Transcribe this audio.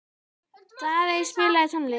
Daðey, spilaðu tónlist.